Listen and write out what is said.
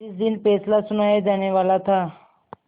जिस दिन फैसला सुनाया जानेवाला था